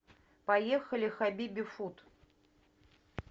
поехали хабиби фуд